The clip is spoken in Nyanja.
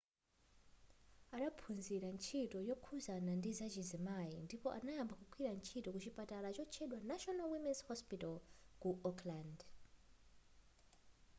adaphunzira ntchito yokhuzana ndizachizimayi ndipo adayamba kugwira ntchito ku chipatala chotchedwa national women's hospital ku auckland